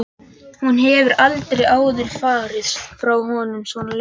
Hún hefur aldrei áður farið frá honum svona lengi.